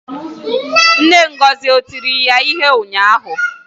Nne Ngozi o tiri ya ihe ụnyahụ?